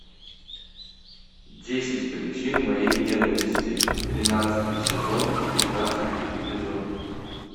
десять причин моей ненависти тринадцатый сезон пятнадцатый эпизод